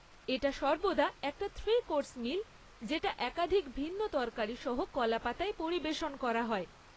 এটা সর্বদা একটা থ্রি কোর্স মিল যেটা একাধিক ভিন্ন তরকারি সহ কলা পাতায় পরিবেশন করা হয়।